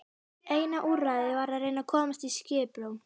Eina úrræðið var að reyna að komast í skiprúm.